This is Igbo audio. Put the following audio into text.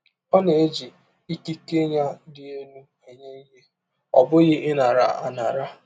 Ọ na-eji ikike ya dị elụ enye ihe, ọ bụghị ịnara anara